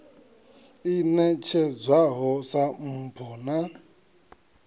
i ṋetshedzwaho sa mpho na